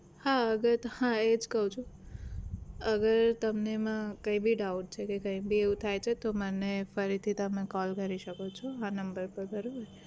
હા અગર હા એ જ કહું છું અગર તમને એમાં કઈ ભી doubt છે કે કઈ ભી એવું થાય છે તો મને ફરીથી તમે call કરી શકો છો આ number પર બરોબર